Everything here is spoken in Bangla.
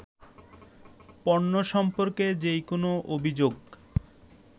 পণ্য সম্পর্কে যে কোনো অভিযোগ